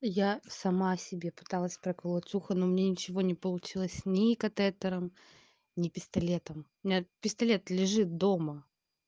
я сама себе пыталась проколоть ухо но мне ничего не получилось ни катетером ни пистолетом у меня пистолет лежит дома